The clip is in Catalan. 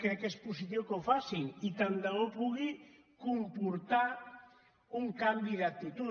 crec que és positiu que ho facin i tant de bo pugui comportar un canvi d’actitud